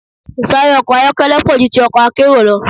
Ìsáré ọkọ̀ ayọ́kẹ́lẹ́ pọ̀ ju ti ọkọ̀ akérò lọ.